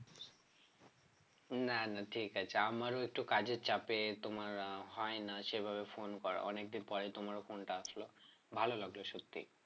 না না ঠিক আছে আমারও একটু কাজের চাপে তোমার আহ হয়না সেভাবে phone করা অনেকদিন পরে তোমার phone টা আসলো ভালো লাগলো সত্যি